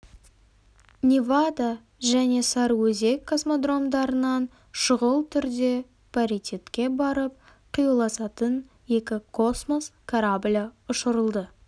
невада және сарыөзек космодромдарынан шұғыл түрде паритетке барып қиюласатын екі космос кораблі ұшырылды